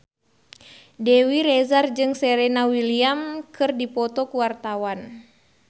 Dewi Rezer jeung Serena Williams keur dipoto ku wartawan